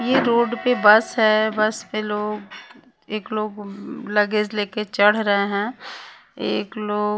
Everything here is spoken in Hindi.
ये रोड पे बस है बस पे लोग एक लोग लगेज लेके चढ़ रहे हैं एक लो --